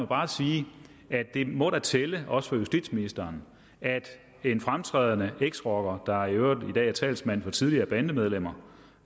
bare sige at det da må tælle også for justitsministeren at en fremtrædende eksrocker der i øvrigt i dag er talsmand for tidligere bandemedlemmer